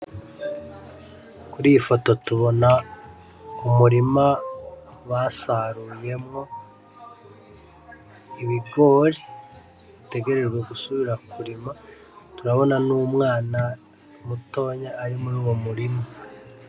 Kuri iyi foto tubona umurima basaruyemwo ibigori bitegerejwe gusubira kurimwa turabona n'umwana mutonya ari muruwo murima.